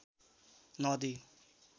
नदी